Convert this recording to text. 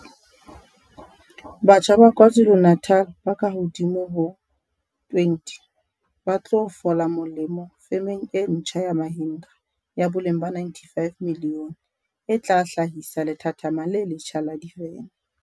Batjha ba KwaZu lu-Natal ba kahodimo ho 20 ba tlo fola molemo femeng e ntjha ya Mahindra ya boleng ba R95 milione e tla hla hisa lethathama le letjha la divene